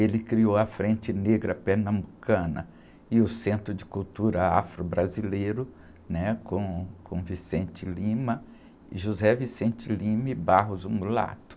Ele criou a Frente Negra Pernambucana e o Centro de Cultura Afro-Brasileiro, né? Com, com o, e, o mulato.